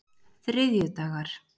þriðjudagar